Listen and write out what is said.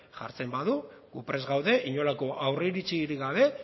jartzen badu gu prest gaude inolako aurreiritzirik gabe